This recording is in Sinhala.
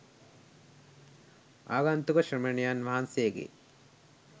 ආගන්තුක ශ්‍රමණයන් වහන්සේ ගේ